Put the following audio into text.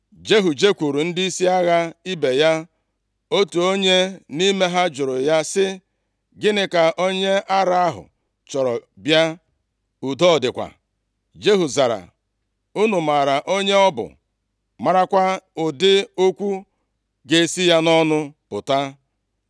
Jehu jekwuuru ndịisi agha ibe ya. Otu onye nʼime ha jụrụ ya sị, “Gịnị ka onye ara ahụ chọrọ bịa? Udo ọ dịkwa?” Jehu zara, “Unu maara onye ọ bụ, marakwa ụdị okwu ga-esi ya nʼọnụ pụta.”